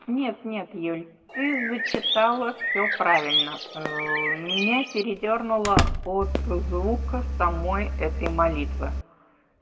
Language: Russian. нет нет юля ты зачитала все правильно меня передёрнуло от звука самой этой молитвы